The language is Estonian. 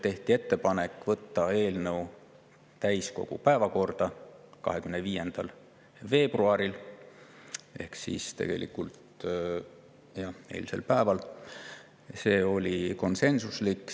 Tehti ettepanek võtta eelnõu täiskogu päevakorda 25. veebruaril ehk tegelikult eilsel päeval, see oli konsensuslik.